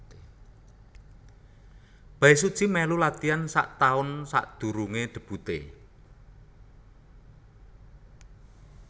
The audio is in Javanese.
Bae Suji mèlu latian sak taun sadurungé debuté